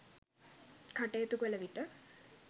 කටයුතු කළවිට